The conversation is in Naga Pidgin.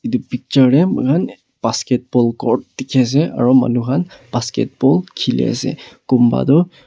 etu picture teh moikhan basketball ghor dikhi ase aru manu khan basketball khili ase kunba tu--